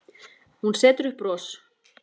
Hún setur upp bros.